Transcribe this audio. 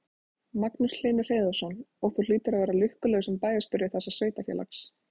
Magnús Hlynur Hreiðarsson: Og þú hlýtur að vera lukkulegur sem bæjarstjóri þessa sveitarfélags?